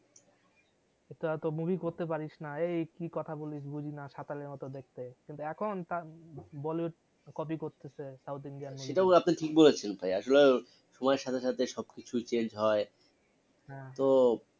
তোরা তো movie করতে পারিস না এই কি কথা বলিস বুঝি না সাতালের মত দেখতে কিন্তু এখন bollywood copy করতেসে সাউথ ইনিডিয়ান movie থেকে সেটাও আপনি ঠিক বলেসেন ভাই আসলে সময় এর সাথে সাথে সব কিছু change হয় তো